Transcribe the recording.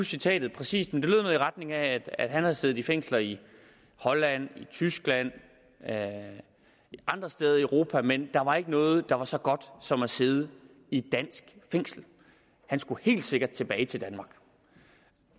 citatet præcist men det lyder noget i retning af at han havde siddet i fængsler i holland i tyskland andre steder i europa men der var ikke noget der var så godt som at sidde i et dansk fængsel han skulle helt sikkert tilbage til danmark